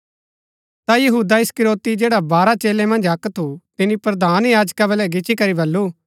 ता यहूदा इस्करियोती जैडा बारह चेलै मन्ज अक्क थु तिनी प्रधान याजका बलै गिच्ची करी बल्लू